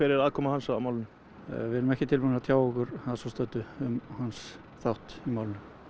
er aðkoma hans að málinu við erum ekki tilbúnir að tjá okkur að svo stöddu um hans þátt í málinu